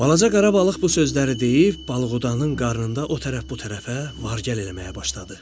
Balaca qara balıq bu sözləri deyib balıqdanın qarnında o tərəf bu tərəfə var-gəl eləməyə başladı.